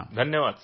sir धन्यवाद